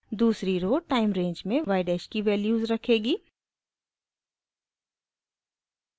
दूसरी row time range में y dash की वैल्यूज़ रखेगी